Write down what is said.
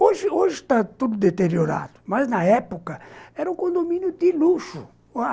Hoje hoje está tudo deteriorado, mas, na época, era um condomínio de luxo.